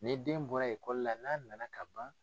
Ni den bɔra la n'a nana ka ban.